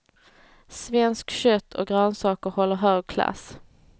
Svenskt kött och grönsaker håller hög klass.